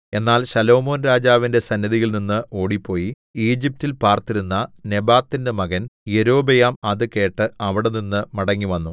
എന്നാൽ ശലോമോൻരാജാവിന്റെ സന്നിധിയിൽനിന്ന് ഓടിപ്പോയി ഈജിപ്റ്റിൽ പാർത്തിരുന്ന നെബാത്തിന്റെ മകൻ യൊരോബെയാം അത് കേട്ട് അവിടെനിന്ന് മടങ്ങിവന്നു